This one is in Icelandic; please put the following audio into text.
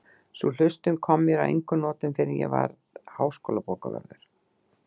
Sú hlustun kom mér að engum notum fyrr en ég varð háskólabókavörður